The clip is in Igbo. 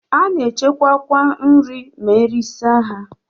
A na-echekwa kwa nri ma esichaa ha.